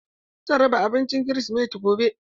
Zan raba abinci kirisimeti gobe.